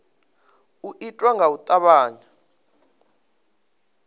u itwa nga u tavhanya